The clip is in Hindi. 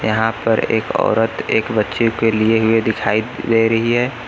यहां पर एक औरत एक बच्चे के लिए हुए दिखाई दे रही है।